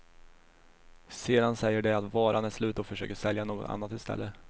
Sedan säger de att varan är slut och försöker sälja något annat i stället.